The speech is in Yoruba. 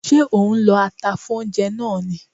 Ṣé ò ń lọ ata fún oúnjẹ náà ni?